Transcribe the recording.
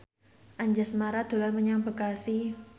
Anjasmara dolan menyang Bekasi